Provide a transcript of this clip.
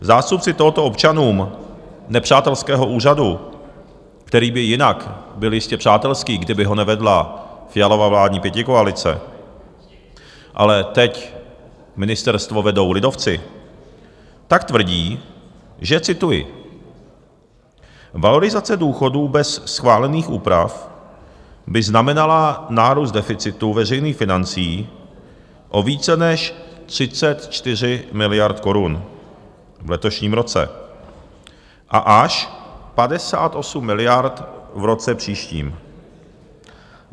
Zástupci tohoto občanům nepřátelského úřadu, který by jinak byl jistě přátelský, kdyby ho nevedla Fialova vládní pětikoalice, ale teď ministerstvo vedou lidovci, tak tvrdí, že - cituji: Valorizace důchodů bez schválených úprav by znamenala nárůst deficitu veřejných financí o více než 34 miliard korun v letošním roce a až 58 miliard v roce příštím.